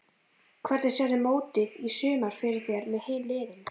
Hvernig sérðu mótið í sumar fyrir þér með hin liðin?